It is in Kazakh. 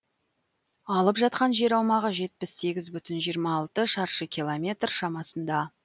алып жатқан жер аумағы жетпіс сегіз бүтін жиырма алты шаршы километр шамасында